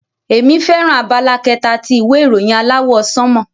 Emi fẹràn abala kẹta ti ìwé ìròyìn aláwọ̀ sánmọ̀.